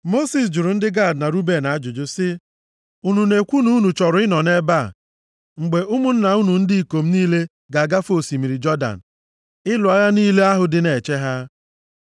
Mosis jụrụ ndị Gad na Ruben ajụjụ sị, “Unu na-ekwu na unu chọrọ ịnọ nʼebe a mgbe ụmụnna unu ndị ikom niile ga-agafe osimiri Jọdan ịlụ agha niile ahụ dị na-eche ha?